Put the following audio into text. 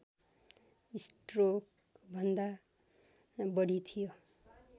स्ट्रोकभन्दा बढी थियो